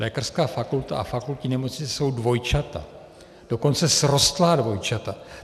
Lékařská fakulta a fakultní nemocnice jsou dvojčata, dokonce srostlá dvojčata.